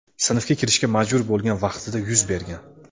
sinfga kirishga majbur bo‘lgan vaqtida yuz bergan.